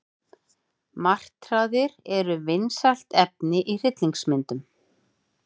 Martraðir eru vinsælt efni í hryllingsmyndum.